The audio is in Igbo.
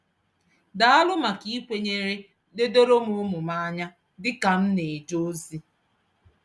Daalụ maka ikwere ledoro m ụmụ m anya dị ka m na-eje ozi.